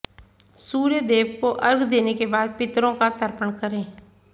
सूर्य देव को अर्घ्य देने के बाद पितरों का तर्पण करें